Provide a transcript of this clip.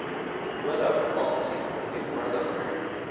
nodig aangesien verteenwoordiging